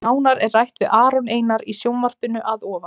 Nánar er rætt við Aron Einar í sjónvarpinu að ofan.